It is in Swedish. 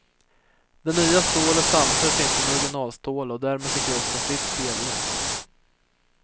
Det nya stålet samsades inte med originalstålet och därmed fick rosten fritt spelrum.